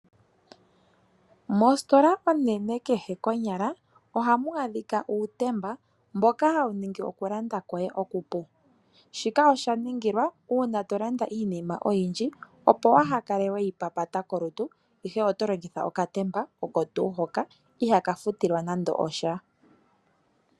Mositola onene kehe konyala ohamu adhika uutemba, mboka hawu ningi oku landa koye okupu, shika osha ningila uuna to landa iinima oyindji opo waaha kale weyi papata kolutu, ihe oto longitha okatemba oko tuuu hoka, ihaaka futilwa nande osha.